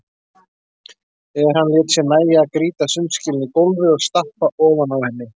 En hann lét sér nægja að grýta sundskýlunni í gólfið og stappa ofan á henni.